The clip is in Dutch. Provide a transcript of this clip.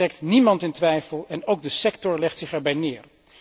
Dat trekt niemand in twijfel en ook de sector legt zich erbij neer.